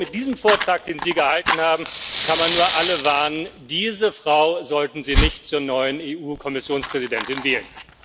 So, mit diesem Vortrag, den Sie gehalten haben, kann man nur alle warnen Diese Frau sollten Sie nicht zur neuen EU Kommissionspräsidentin wählen.